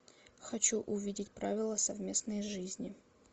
хочу увидеть правила совместной жизни